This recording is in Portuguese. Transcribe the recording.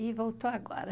E voltou agora.